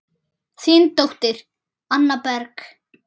Þín dóttir, Anna Berg.